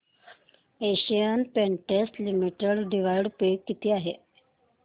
Asian Paints limited dividend pay किती आहे